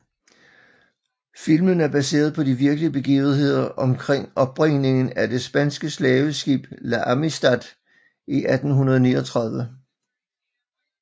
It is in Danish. Filmen er baseret på de virkelige begivender omkring opbringningen af det spanske slaveskib La Amistad i 1839